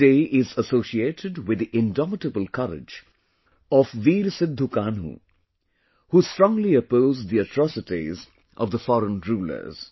This day is associated with the indomitable courage of Veer Sidhu Kanhu, who strongly opposed the atrocities of the foreign rulers